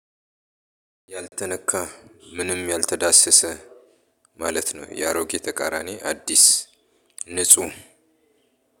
ያልተነካ ምንም ያልተዳሰሰ ማለት ነው የአሮጌ ተቃራኒ አዲስ ንጹህ።